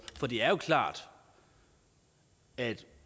for det er jo klart at